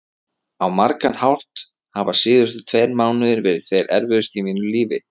Á margan hátt hafa síðustu tveir mánuðir verið þeir erfiðustu í mínu lífi.